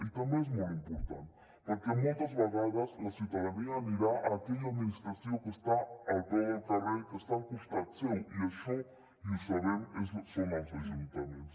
i també és molt important perquè moltes vegades la ciutadania anirà a aquella administració que està al peu del carrer que està al costat seu i això i ho sabem són els ajuntaments